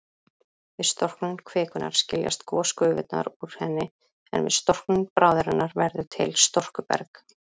Við storknun kvikunnar skiljast gosgufurnar úr henni, en við storknun bráðarinnar verður til storkuberg.